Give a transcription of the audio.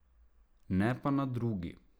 Ne pa na drugi.